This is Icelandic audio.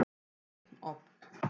Einn ofn.